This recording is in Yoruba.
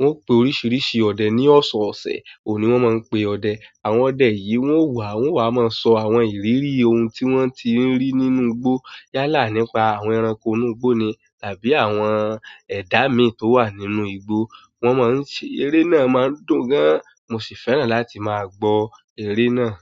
wọ́n pe oríṣiríṣi ọdẹ ní ọ̀ṣọ̀ ọ̀ṣẹ̀, òhun ni wọ́n máa ń pe ọdẹ. Àwọn ọdẹ yìí wọ́n wà, wọ́n wà máa ń sọ àwọn ìrírí ohun tí wọ́n ti ń rí nínú igbó yálà nípa àwọn ẹranko inú igbó ni tàbí àwọn ẹ̀dá mi tó wà nínú igbó. Wọn máa ń ṣe, eré náà máa ń dùn gan an, mo sì fẹ́ràn láti máa gbọ́ eré náà.